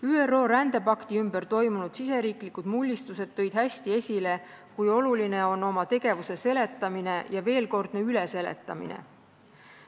ÜRO rändepakti ümber toimunud riigisisesed mullistused tõid hästi esile, kui oluline on oma tegevuse seletamine ja veelkordne üleseletamine.